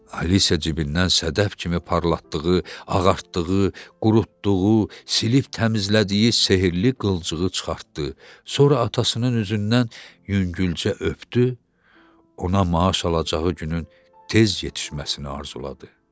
Alisə cibindən sədəf kimi parlatdığı, ağartdığı, qurutduğu, silib təmizlədiyi sehirli qılcığı çıxartdı, sonra atasının üzündən yüngülcə öpdü, ona maaş alacağı günün tez yetişməsini arzuladı.